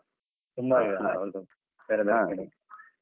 .